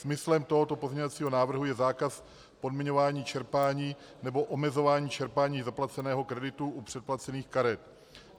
Smyslem tohoto pozměňovacího návrhu je zákaz podmiňování čerpání nebo omezování čerpání zaplaceného kreditu u předplacených karet.